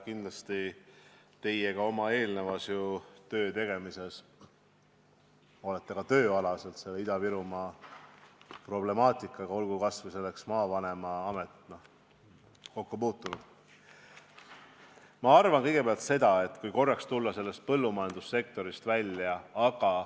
Kindlasti olete teie ka oma eelnevas töötegemises, olgu kas või maavanema ametis, Ida-Virumaa problemaatikaga kokku puutunud.